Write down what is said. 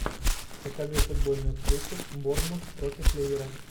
покажи футбольную встречу борнмут против ливера